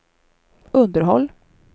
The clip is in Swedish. underhåll